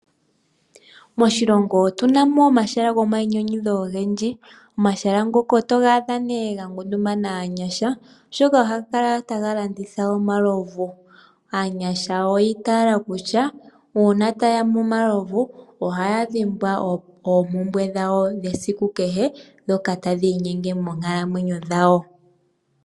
Moshilongo otuna mo omahala gomainyanyudho ogendji. Omahala ngoka oto ga adha nee ga ngundumana aanyasha oshoka, ohaga kala taga landitha omalovu. Aanyasha oyi itaala kutya, uuna taya nu omalovu ohaya dhimbwa oompumbwe dhawo dhesiku kehe, dhoka tadhi inyenge mookalamwenyo dhawo.